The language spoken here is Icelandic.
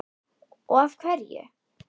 og af hverju?